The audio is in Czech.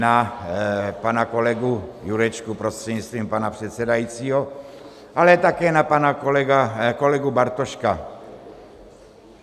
Na pana kolegu Jurečku prostřednictvím pana předsedajícího, ale také na pana kolegu Bartoška.